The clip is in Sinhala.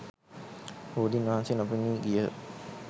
බෝධීන් වහන්සේ නොපෙනී ගියහ.